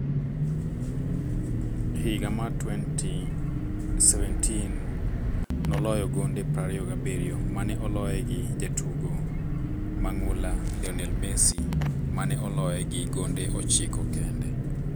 Higa mar 2017 noloyo gonde 27 mane oloye gi jatugo mang'ula Lionel Messi, mane oloye gi gonde 9 kende.